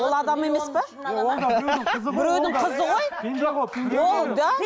ол адам емес пе біреудің қызы ғой да